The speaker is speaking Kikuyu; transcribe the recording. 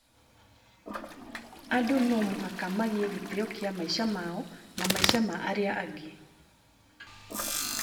Andũ no mũhaka magie gĩtĩo kĩa maisha mao na maisha ma arĩa angĩ